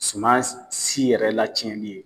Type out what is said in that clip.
Suma si yɛrɛ lacɛnli ye.